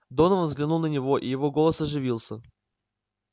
донован взглянул на него и его голос оживился